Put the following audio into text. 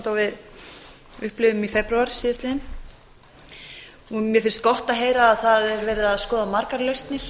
við upplifðum í febrúar síðastliðnum mér finnst gott að heyra að það er verið að skoða margar lausnir